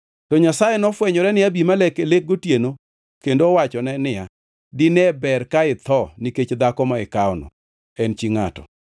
To Nyasaye nofwenyore ne Abimelek e lek gotieno kendo owachone niya, “Dine ber ka itho nikech dhako ma ikawono; en chi ngʼato.”